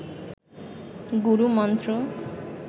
গুরু মন্ত্র